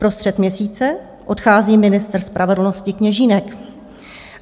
Vprostřed měsíce odchází ministr spravedlnosti Kněžínek.